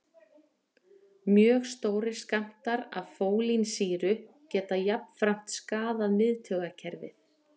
Mjög stórir skammtar af fólínsýru geta jafnframt skaðað miðtaugakerfið.